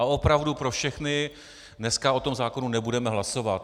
A opravdu pro všechny - dneska o tom zákonu nebudeme hlasovat.